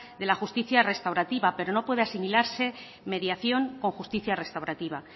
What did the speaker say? de la justicia restaurativa pero no puede asimilarse mediación o justicia restaurativa